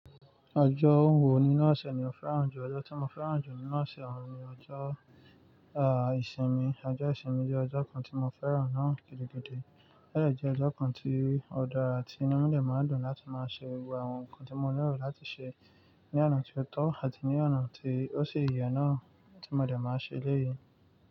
Ọjọ́ wo nínú ose ni mo fẹ́ràn jù? Ọjọ́ tí mo fẹ́ràn jù nínú ose àwọn ni ọjọ́, ah, ìsinmi. Ọjọ́ ìsinmi jẹ́ ọjọ́ kan tí mo fẹ́ràn náà gidi gidi. Bẹ́ẹ̀ lọ jẹ́ ọjọ́ kan tí ọ̀dà ti inú mi de máa ń dùn láti máa ṣe gbogbo àwọn nǹkan tí mo nílò láti ṣe ní ọ̀nà tí ó tọ́ àti ní ọ̀nà tí ó sì yẹ náà tí mo lè máa ṣe eleyii.